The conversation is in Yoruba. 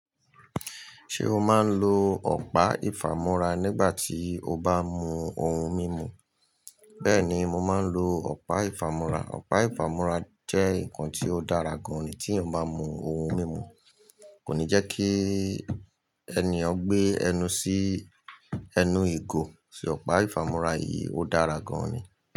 Ṣé o máa ń lo ọ̀pá ìfàmúrà nígbà tí o bá mú ohun mímu? Bẹ́ẹ̀ni, mo máa ń lo ọ̀pá ìfàmúrà. Ọ̀pá ìfàmúrà jẹ́ nǹkan tí ó dára gan-an tí èèyàn bá mú ohun mímu. Kò ní jẹ́ kí èniyen o gbé ẹnu sí ẹnu ìgò, ṣé ọ̀pá ìfàmúrà yìí ó dára gan-an ni.